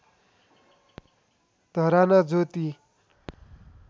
धराना ज्योति